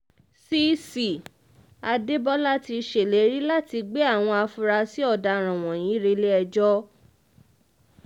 cc adébólà ti ṣèlérí láti gbé àwọn afurasí ọ̀daràn wọ̀nyí rẹ́lẹ̀-ẹjọ́